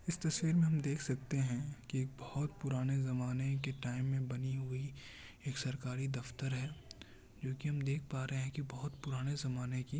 इस तस्वीर में हम देख सकते हैं कि एक बहुत पुराने जमाने की टाइम में बनी हुई एक सरकारी दफ्तर हैं। जो की हम देख पा रहे हैं कि बहुत पुराने जमाने कि--